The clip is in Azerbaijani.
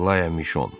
Aqlya Mişon.